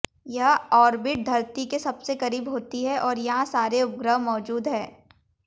यह ऑर्बिट धरती के सबसे करीब होती है और यहां सारे उपग्रह मौजूद है